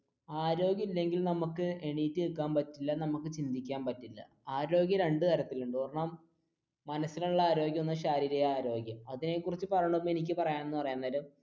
ആരോഗ്യം ഇല്ലെങ്കിൽ നമുക്ക് എണീറ്റ് നിക്കാൻ പറ്റില്ല നമുക്ക് ചിന്തിക്കാൻ പറ്റില്ല ആരോഗ്യം രണ്ടു തരത്തിലുണ്ട് ഒരെണ്ണം മനസിനുള്ള ആരോഗ്യം, ശാരീരിക ആരോഗ്യം അതിനെ കുറിച്ച് പറയുന്നതിന് മുൻപ് എനിക്ക് പറയാൻ എന്ന് പറയുന്നത്